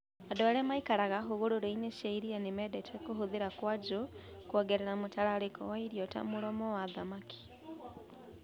Andũ arĩa maikaraga hũgũrũrũ-inĩ cia iria nĩ mendete kũhũthĩra kwuaju kwongerera mũtararĩko wa irio ta mũromo wa thamaki.